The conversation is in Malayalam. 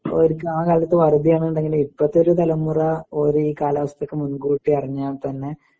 അവര്ക്ക് ആ കാലത്ത് ന്നിണ്ടെങ്കില് ഇപ്പത്തൊരു തലമുറ ഓരീ കാലാവസ്ഥക്ക് മുൻകൂട്ടി അറിഞ്ഞാത്തന്നെ